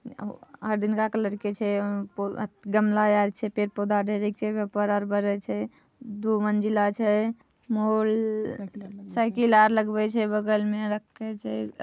अ हरदिनका कलर के छै। ओ गमला यार छै। पेड़-पौधा ढेरिक छै। एमे परपरा बढरा छै। दु मंजिला छे। मोर साइकिल लगबय छै बगल में रखय छैआ ----